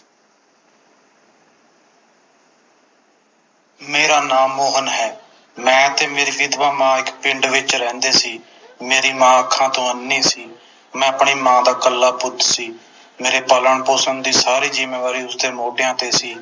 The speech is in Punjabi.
ਮੇਰਾ ਨਾਮ ਮੋਹਨ ਹੈ ਮੈਂ ਤੇ ਮੇਰੀ ਵਿਧਵਾ ਮਾਂ ਇਕ ਪਿੰਡ ਵਿਚ ਰਹਿੰਦੇ ਸੀ ਮੇਰੀ ਮਾਂ ਅੱਖਾਂ ਤੋਂ ਅੰਨ੍ਹੀ ਸੀ ਮੈਂ ਆਪਣੀ ਮਾਂ ਦਾ ਇੱਕਲਾ ਪੁੱਤ ਸੀ ਮੇਰੇ ਪਾਲਣ ਪੋਸ਼ਣ ਦੀ ਸਾਰੀ ਜਿੰਮੇਵਾਰੀ ਉਸਦੇ ਮੋਢਿਆਂ ਤੇ ਸੀ